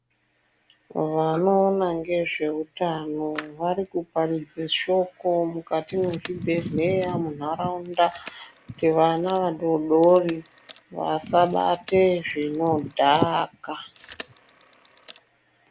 Vano ona ngezve utano variku paridze shoko mukati mwe zvibhedhleya mu nharaunda kuti vana vadodori vasa bate zvino dhaka.